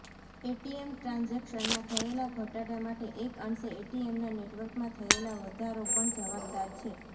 ATM ટ્રાન્ઝેક્શનમાં થયેલાં ઘટાડા માટે એક અંશે એટીએમના નેટવર્કમાં થયેલાં વધારો પણ જવાબદાર છે